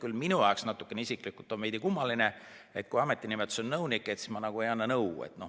Kuigi minu jaoks on see veidi kummaline, et ametinimetus on "nõunik", aga ei anta nõu.